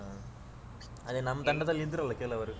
ಹಾ ಅದೇ ನಮ್ ತಂಡದಲ್ಲಿ ಇದ್ರಲ್ಲಾ ಕೆಲವರು.